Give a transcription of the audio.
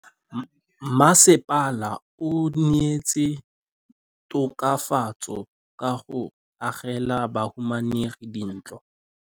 Mmasepala o neetse tokafatsô ka go agela bahumanegi dintlo.